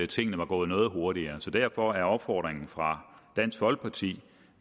tingene var gået noget hurtigere derfor er opfordringen fra dansk folkeparti